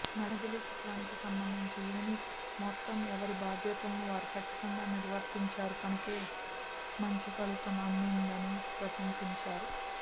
మజిలీ చిత్రానికి సంబంధించి యూనిట్ మొత్తం ఎవరి బాధ్యతలను వారు కచ్చితంగా నిర్వర్తించారు కనుకే మంచి ఫలితం అందిందని ప్రశంసించారు